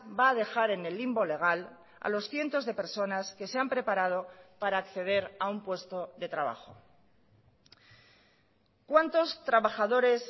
va a dejar en el limbo legal a los cientos de personas que se han preparado para acceder a un puesto de trabajo cuántos trabajadores